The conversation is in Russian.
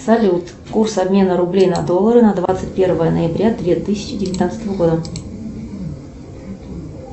салют курс обмена рублей на доллары на двадцать первое ноября две тысячи девятнадцатого года